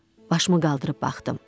Başımı qaldırıb baxdım.